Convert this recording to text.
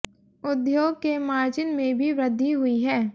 उद्योग के मार्जिन में भी वृद्धि हुई है